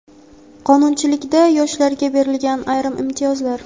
Qonunchilikda yoshlarga berilgan ayrim imtiyozlar.